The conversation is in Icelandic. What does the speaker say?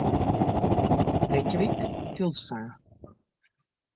Reykjavík: Þjóðsaga.